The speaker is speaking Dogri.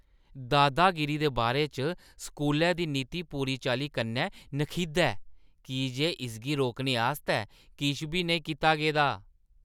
दादागिरी दे बारे च स्कूलै दी नीति पूरी चाल्ली कन्नै नखिद्ध ऐ की जे इसगी रोकने आस्तै किश बी नेईं कीता गेदा ।